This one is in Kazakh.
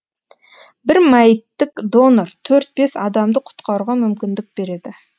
бір мәйіттік донор төрт бес адамды құтқаруға мүмкіндік береді